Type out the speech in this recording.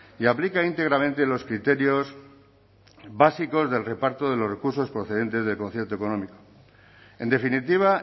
y aplica íntegramente los criterios básicos del reparto de los recursos procedentes del concierto económico en definitiva